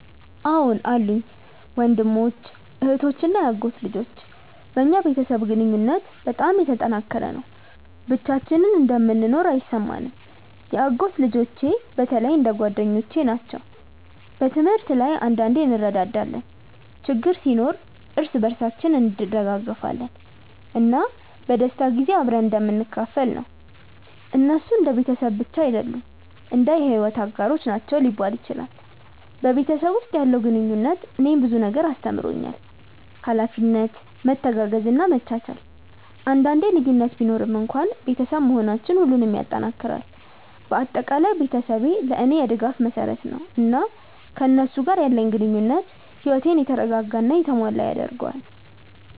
አዎን አሉኝ፤ ወንድሞች፣ እህቶች እና የአጎት ልጆች። በእኛ ቤተሰብ ግንኙነት በጣም የተጠናከረ ነው፣ ብቻችንን እንደምንኖር አይሰማንም። የአጎት ልጆቼ በተለይ እንደ ጓደኞቼ ናቸው። በትምህርት ላይ አንዳንዴ እንረዳዳለን፣ ችግር ሲኖር እርስ በርሳችን እንደግፋለን፣ እና በደስታ ጊዜ አብረን እንደምንካፈል ነው። እነሱ እንደ ቤተሰብ ብቻ አይደሉም፣ እንደ የሕይወት አጋሮች ናቸው ሊባል ይችላል። በቤተሰብ ውስጥ ያለው ግንኙነት እኔን ብዙ ነገር አስተምሮኛል፤ ኃላፊነት፣ መተጋገዝ እና መቻቻል። አንዳንዴ ልዩነት ቢኖርም እንኳን ቤተሰብ መሆናችን ሁሉንም ይጠናክራል። በአጠቃላይ ቤተሰቤ ለእኔ የድጋፍ መሰረት ነው፣ እና ከእነሱ ጋር ያለኝ ግንኙነት ሕይወቴን የተረጋጋ እና የተሞላ ያደርገዋል።